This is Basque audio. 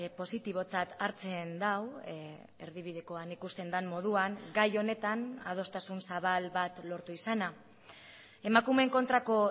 positibotzat hartzen du erdibidekoan ikusten den moduan gai honetan adostasun zabal bat lortu izana emakumeen kontrako